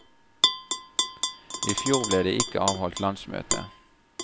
I fjor ble det ikke avholdt landsmøte.